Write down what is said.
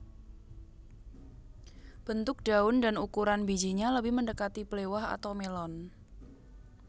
Bentuk daun dan ukuran bijinya lebih mendekati blewah atau melon